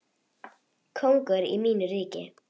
Kóngur í mínu ríki.